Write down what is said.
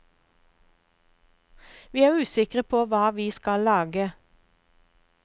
Vi er usikre på hva vi skal lage.